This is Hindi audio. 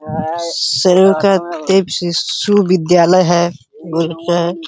शिशु विद्यालय है।